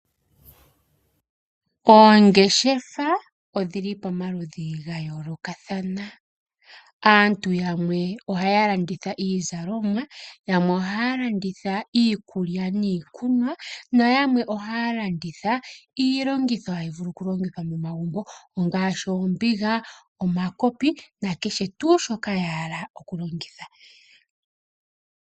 Oongeshefa odhili pamaludhi gayoloka kathana, aantu yamwe ohaya landitha iizalomwa, yamwe ohaya landitha iikulya niikunwa na yamwe ohaya landitha longitha hayi vulu okulongithwa momagumbo ongashi ombinga, omakopi na kehe tuu shoka ya hala okulongitha.